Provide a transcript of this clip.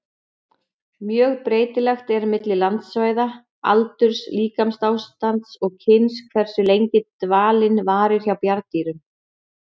Mjög breytilegt er milli landsvæða, aldurs, líkamsástands og kyns hversu lengi dvalinn varir hjá bjarndýrum.